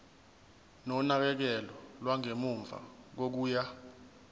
nonakekelo lwangemuva kokuya